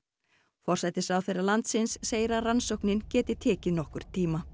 forsætisráðherra landsins segir að rannsóknin geti tekið nokkurn tíma